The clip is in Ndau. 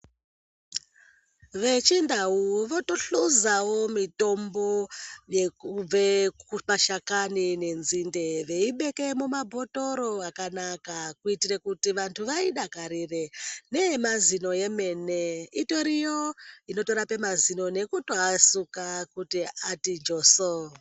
Vechindau votohluzavo mitombo yekubve kumashakani nenzinde veibeke mumabhotoro akanaka .Kuitira kuti vantu vaidakarire neye mazino yemene iriyo inotorape mazino nekutoasuka kuti atijoso.